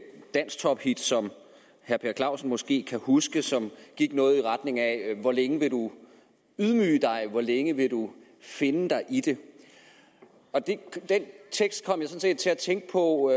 dansktop hit som herre per clausen måske kan huske og som gik noget i retning af dette hvor længe vil du lade dig ydmyge hvor længe vil du finde dig i det og den tekst kom jeg sådan set til at tænke på